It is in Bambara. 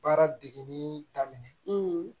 Baara degiin daminɛ